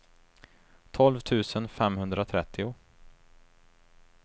tolv tusen femhundratrettio